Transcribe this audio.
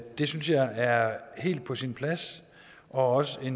det synes jeg er helt på sin plads og også